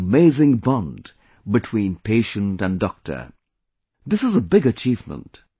An amazing bond between patient and doctor this is a big achievement